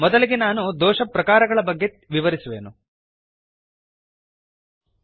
ಮೊದಲಿಗೆ ನಾನು ದೋಷಪ್ರಕಾರಗಳ ಟೈಪ್ಸ್ ಒಎಫ್ ಎರರ್ಸ್ ಬಗ್ಗೆ ವಿವರಿಸುವೆನು